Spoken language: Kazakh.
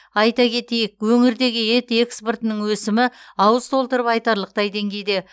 айта кетейік өңірдегі ет экспортының өсімі ауыз толтырып айтарлықтай деңгейде